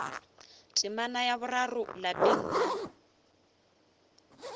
temana ya boraro lapeng la